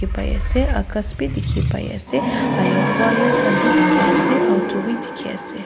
Pai ase akas bi dekhi pai ase ahyour wire khan bi dekhi ase auto bi dekhi ase.